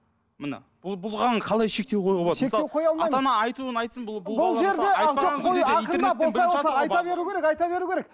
міне бұл қалай шектеу қоюға болады айта беру керек айта беру керек